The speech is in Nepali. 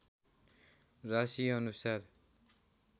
राशिअनुसार